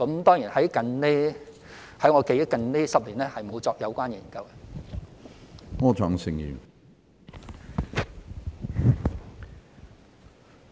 當然，據我記憶，近10年也沒有進行相關研究。